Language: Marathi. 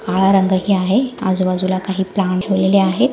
काळा रंगही आहे आजूबाजूला काही प्लांट ठेवलेले आहेत.